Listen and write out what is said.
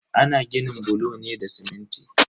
Ana ginin bulo ne da siminti.